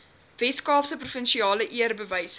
weskaapse provinsiale eerbewyse